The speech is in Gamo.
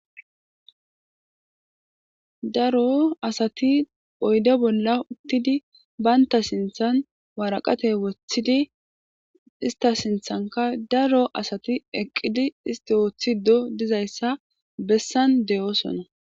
Daro asati oyde bolla uttidi banta sinthan waraqata wothidi ista sinthanka daro asti eqqidi isti othido dizaysa besan de'osona